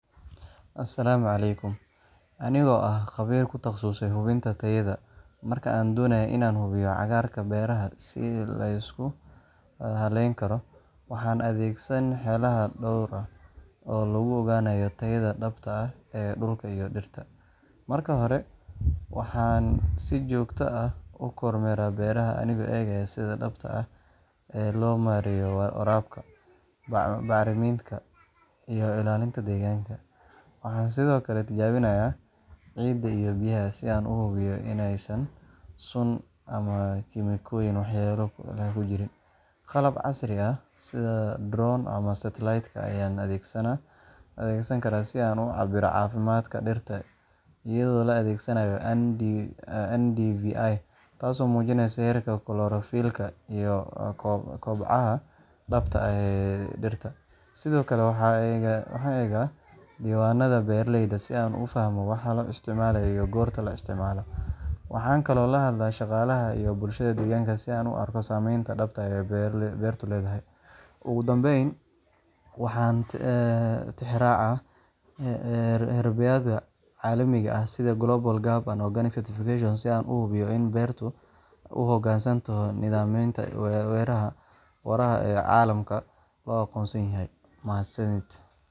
Asalaamu calaykum. Anigoo ah khabiir ku takhasusay hubinta tayada, marka aan doonayo inaan hubiyo cagaarka beeraha si la isku halayn karo, waxaan adeegsadaa xeelado dhowr ah oo lagu ogaanayo tayada dhabta ah ee dhulka iyo dhirta. Marka hore, waxaan si joogto ah u kormeeraa beeraha anigoo eegaya sida dhabta ah ee loo maareeyo waraabka, bacriminta, iyo ilaalinta deegaanka. Waxaan sidoo kale tijaabiyaa ciidda iyo biyaha si aan u hubiyo inaysan sun ama kiimikooyin waxyeello leh ku jirin. Qalab casri ah sida drones ama satellite-ka ayaan adeegsan karaa si aan u cabbiro caafimaadka dhirta iyadoo la adeegsanayo NDVI – taasoo muujinaysa heerka chlorophyll-ka iyo kobaca dhabta ah ee dhirta. Sidoo kale, waxaan eegaa diiwaanada beeraleyda si aan u fahmo waxa la isticmaalay iyo goorta la isticmaale. Waxaan kaloo la hadlaa shaqaalaha iyo bulshada deegaanka si aan u arko saameynta dhabta ah ee beertu leedahay. Ugu dambayn, waxaan tixraacaa heerbeegyada caalamiga ah sida Global GAP ama Organic Certification si aan u hubiyo in beertu u hoggaansanto nidaamyada waara ee caalamka la aqoonsan yahay. Mahadsanidiin.